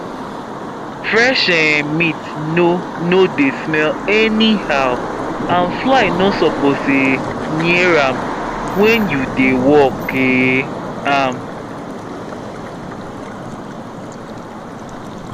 fresh um meat no no dey smell anyhow and fly no suppose um near am when you dey work um am